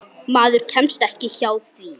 Maður kemst ekki hjá því.